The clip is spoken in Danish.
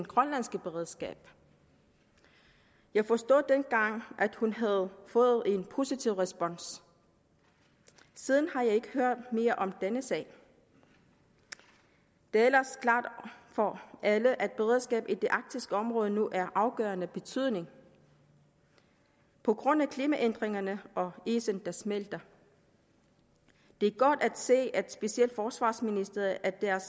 grønlandske beredskab jeg forstod dengang at hun havde fået en positiv respons siden har jeg ikke hørt mere om denne sag det er ellers klart for alle at beredskabet i det arktiske område nu er af afgørende betydning på grund af klimaændringerne og isen der smelter det er godt at se at specielt forsvarsministeriet er